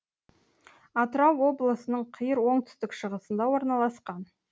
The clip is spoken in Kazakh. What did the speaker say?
атырау облысының қиыр оңтүстік шығысында орналасқан